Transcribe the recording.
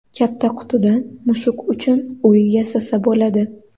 Katta qutidan mushuk uchun uy yasasa bo‘ladi.